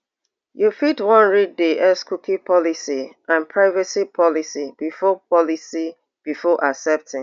you fit wan read di x cookie policy and privacy policy before policy before accepting